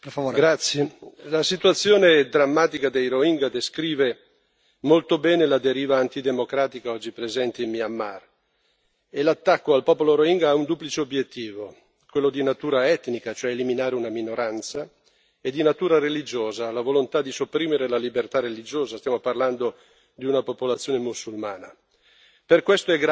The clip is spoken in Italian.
Signor Presidente, onorevoli colleghi, la situazione drammatica dei rohingya descrive molto bene la deriva antidemocratica oggi presente in Myanmar e l'attacco al popolo rohingya ha un duplice obiettivo quello di natura etnica, cioè eliminare una minoranza, e quello di natura religiosa, cioè la volontà di sopprimere la libertà religiosa stiamo parlando di una popolazione musulmana.